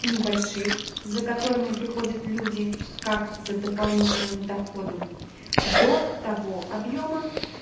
небольших за которыми приходят люди как за дополнительным доходом до того объёма